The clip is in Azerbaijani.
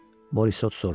Morissot soruşdu.